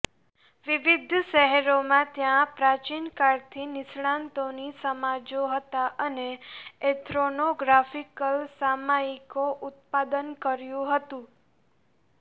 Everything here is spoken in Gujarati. વિવિધ શહેરોમાં ત્યાં પ્રાચીનકાળથી નિષ્ણાતોની સમાજો હતા અને એથ્રોનોગ્રાફિકલ સામયિકો ઉત્પાદન કર્યું હતું